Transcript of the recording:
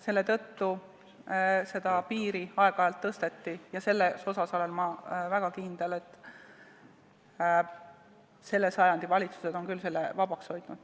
Selle tõttu seda piiri aeg-ajalt tõsteti ja ma olen väga kindel, et selle sajandi valitsused on küll selle tulumaksuvaba hoidnud.